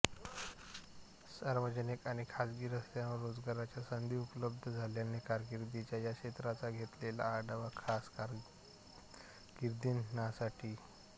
सार्वजनिक आणि खाजगी स्तरावर रोजगाराच्या संधी उपलब्ध झाल्याने कारकीर्दच्या या क्षेत्राचा घेतलेला आढावा खास कारकीर्दनामासाठी